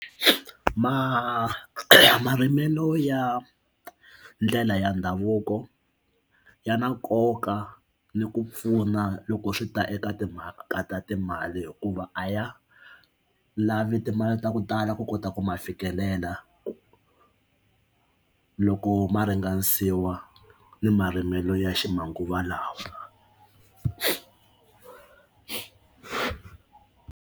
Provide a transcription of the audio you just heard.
Ma marimelo ya ndlela ya ndhavuko ya na nkoka ni ku pfuna loko swi ta eka timhaka ta timali hikuva a ya lavi timali ta ku tala ku kota ku ma fikelela loko ma ringanisiwa ni marimelo ya ximanguva lawa.